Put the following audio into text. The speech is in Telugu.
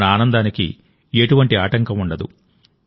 మన ఆనందానికి ఎటువంటి ఆటంకం ఉండదు